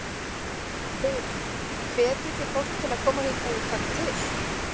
Hugrún: Hvetjið þið fólk til að koma hingað og taka til?